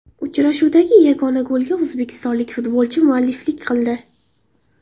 Uchrashuvdagi yagona golga o‘zbekistonlik futbolchi mualliflik qildi.